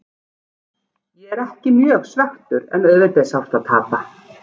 Ég er ekki mjög svekktur en auðvitað er sárt að tapa.